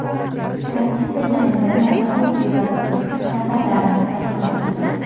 Sakkizta jangda nokaut evaziga raqiblarini taslim qilgan.